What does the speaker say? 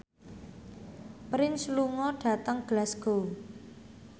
Prince lunga dhateng Glasgow